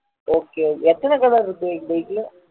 okay எத்தனை colour இருக்கு இந்த இதுல